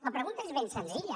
la pregunta és ben senzilla